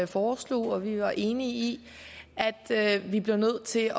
foreslog og det var vi enige i at vi blev nødt til